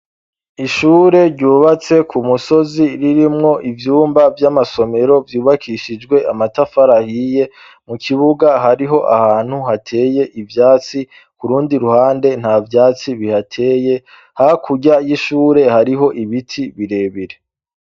Ishure ryubatse ku musozi ririmwo ivyumba vy'amasomero vyubakishijwe amatafarahiye mu kibuga hariho ahantu hateye ivyatsi ku rundi ruhande nta vyatsi bihateye hakurya y'ishure hariho ibiti birebire.